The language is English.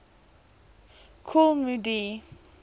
kool moe dee